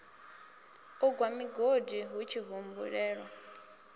u gwa migodi hutshi humbulelwa